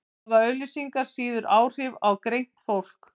hafa auglýsingar síður áhrif á greint fólk